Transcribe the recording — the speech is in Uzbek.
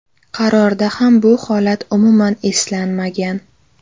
Qarorda ham bu holat umuman eslanmagan.